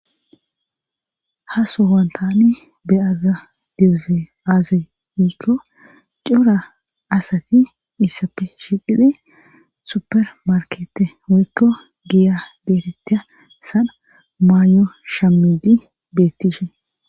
ha sohuwan tani beyada diyosoy aaze giko daro wokko cora asati issapfe shiqidhi supermarkete woykko giya beeetea sanha maayo shamidi bettishe